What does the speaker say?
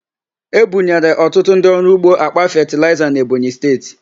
Ebunyere ọtụtụ ndị ọrụ ugbo àkpà fetịlaịza n'Ebonyi Steeti.